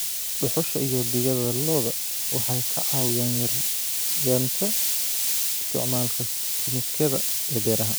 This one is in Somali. Dhuxusha iyo digada lo'da waxay ka caawiyaan yaraynta isticmaalka kiimikada ee beeraha.